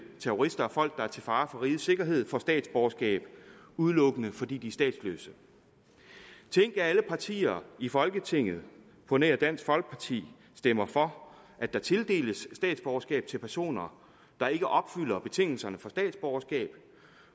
terrorister og folk der er til fare for rigets sikkerhed får statsborgerskab udelukkende fordi de er statsløse tænk at alle partier i folketinget på nær dansk folkeparti stemmer for at der tildeles statsborgerskab til personer der ikke opfylder betingelserne for statsborgerskab